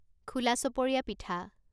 খোলা চপৰীয়া পিঠা